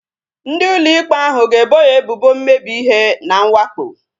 Ndị ụlọ ikpe ahu ga-ebo ya ebubo mmebi ihe na mwakpo